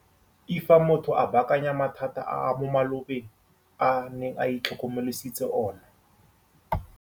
l Fa motho a baakanya mathata a mo malobeng a neng a itlhokomolositse ona.